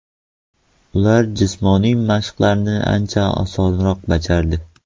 Ular jismoniy mashqlarni ancha osonroq bajardi.